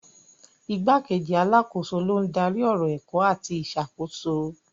Igbákejì alákòóso ló ń darí ọ̀rọ̀ ẹ̀kọ́ àti ìṣàkóso.